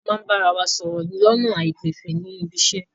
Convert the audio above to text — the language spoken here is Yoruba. A máa bára wa sọ̀rọ̀ lọ́nà àìgbẹ̀fẹ̀ ní ibiṣẹ́.